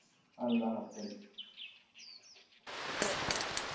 আল্লা হাফিজ